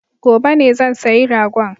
Gobe ne zan sayi ragon